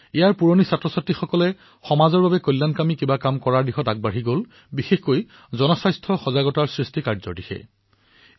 প্ৰাক্তন শিক্ষাৰ্থীসকলে সমাজৰ বাবে কিছু কাম কৰাৰ সংকল্প গ্ৰহণৰ পৰিপ্ৰেক্ষিতত জনস্বাস্থ্য সজাগতা অভিযানৰ দায়িত্ব পালন কৰিলে